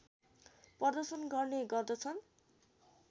प्रदर्शन गर्ने गर्दछन्